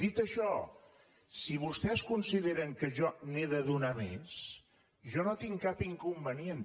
dit això si vostès consideren que jo n’he de donar més jo no hi tinc cap inconvenient